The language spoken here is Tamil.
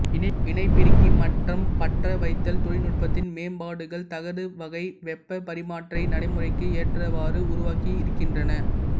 இணைப்பிறுக்கி மற்றும் பற்ற வைத்தல் தொழில்நுட்பத்தின் மேம்பாடுகள் தகடு வகை வெப்பப் பரிமாற்றியை நடைமுறைக்கு ஏற்றவாறு உருவாக்கி இருக்கின்றன